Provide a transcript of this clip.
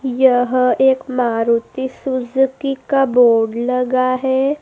यह एक मारुति सुजुकी का बोर्ड लगा है।